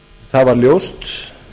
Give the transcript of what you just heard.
það var ljóst